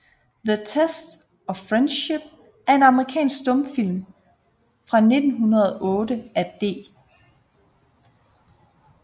The Test of Friendship er en amerikansk stumfilm fra 1908 af D